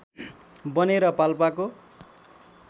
बनेर पाल्पाको